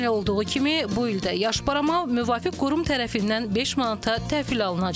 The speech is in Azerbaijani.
Ötən il olduğu kimi bu il də yaş barama müvafiq qurum tərəfindən 5 manata təhvil alınacaq.